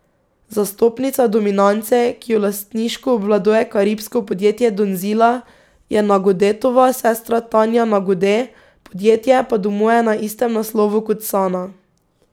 Zastopnica Dominance, ki jo lastniško obvladuje karibsko podjetje Donzila, je Nagodetova sestra Tanja Nagode, podjetje pa domuje na istem naslovu kot Sana.